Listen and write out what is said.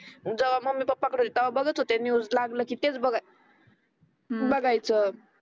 जेव्हा mummy papa कडे होती ते बघत होते ते न्यूज लागलं की तेच बघाय बघायचे